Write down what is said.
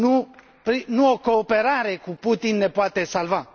Nu o cooperare cu Putin ne poate salva.